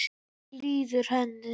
Hvernig líður henni?